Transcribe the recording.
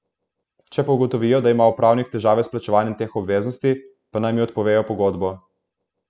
Če pa ugotovijo, da ima upravnik težave s plačevanjem teh obveznosti, pa naj mi odpovejo pogodbo.